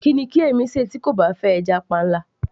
kí ni kí èmi ṣe tí kò bá fẹ́ stockfish